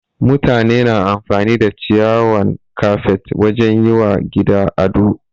Mutane na amfani da ciyawan kafet wajen yi wa gida ado.